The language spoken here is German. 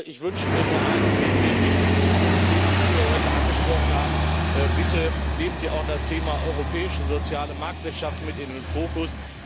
Ich wünsche mir nur eins neben den wichtigen Zukunftsthemen, die Sie hier heute angesprochen haben Bitte nehmen Sie auch das Thema europäische soziale Marktwirtschaft mit in den Fokus.